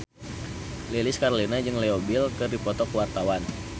Lilis Karlina jeung Leo Bill keur dipoto ku wartawan